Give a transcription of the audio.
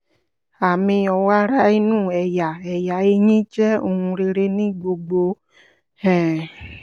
àmì ọ̀wàrà inú ẹ̀yà ẹ̀yà ẹ̀yìn jẹ́ ohun rere ní gbogbo um